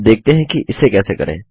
अब देखते हैं कि इसे कैसे करें